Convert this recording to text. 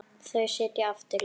Þau sitja aftur í.